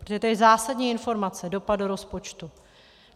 Protože to je zásadní informace - dopad do rozpočtu.